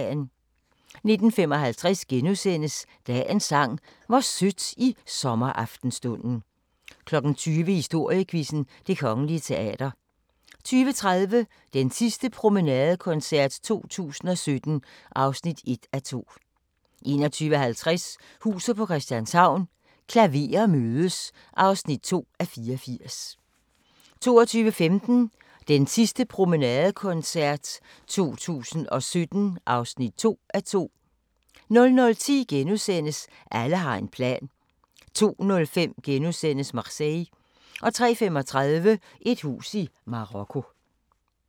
19:55: Dagens Sang: Hvor sødt i sommeraftenstunden * 20:00: Historiequizzen: Det Kongelige Teater 20:30: Den sidste promenadekoncert 2017 (1:2) 21:50: Huset på Christianshavn – Klaverer mødes (2:84) 22:15: Den sidste promenadekoncert 2017 (2:2) 00:10: Alle har en plan * 02:05: Marseille * 03:35: Et hus i Marokko